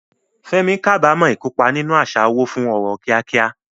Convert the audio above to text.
Fẹ́mi kábàámọ̀ ìkópa nínú àṣà owó fún ọrọ̀ kíákíá.